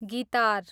guitar